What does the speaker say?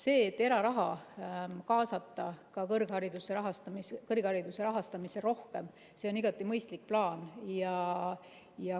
See, et eraraha kaasata kõrgharidusse, kõrghariduse rahastamisse rohkem, on igati mõistlik plaan.